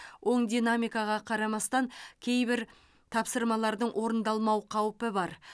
оң динамикаға қарамастан кейбір тапсырмалардың орындалмау қаупі бар